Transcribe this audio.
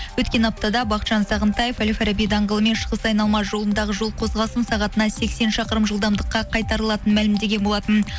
өткен аптада бақытжан сағынтаев әл фараби даңғылы мен шығыс айналма жолындағы жол қозғалысын сағатына сексен шақырым жылдамдыққа қайтарылатынын мәлімдеген болатын